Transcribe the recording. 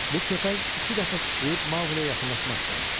Bu köpək iki dəfə sıçrayıb Maquleyə yaxınlaşmaq istəmişdi.